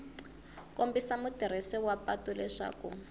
kombisa mutirhisi wa patu leswaku